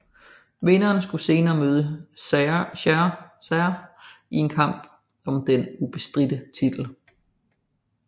Vinderen skulle senere møde Serra i en kamp om den ubestridte titel